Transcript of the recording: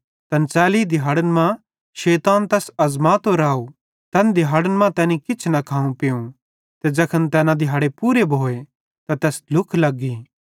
तैन च़ैली दिहाड़न मां शैतान तैस अज़मातो राव तैन दिहैड़न मां तैनी किछ न खाव पीवं ते ज़ैखन तैना दिहाड़े पूरे भोए त तैस ढ्लुख लग्गी